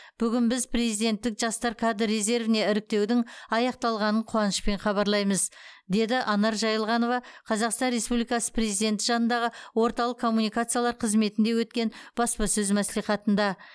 бүгін біз президенттік жастар кадр резервіне іріктеудің аяқталғанын қуанышпен хабарлаймыз деді анар жаилғанова қазақстан республикасы президенті жанындағы орталық коммуникациялар қызметінде өткен баспасөз мәслихатында